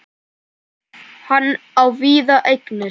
Hann á víða eignir.